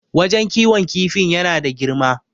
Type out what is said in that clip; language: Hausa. wajen kiwon kifin yana da girma